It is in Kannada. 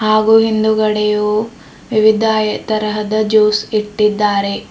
ಹಾಗೂ ಹಿಂದುಗಡೆಯೂ ವಿವಿಧ ತರಹದ ಜ್ಯೂಸ್ ಇಟ್ಟಿದ್ದಾರೆ.